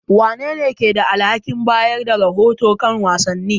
Wanene ke da alhakin bayar da rahoto kan wasanni?